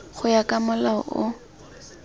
go ya ka molao o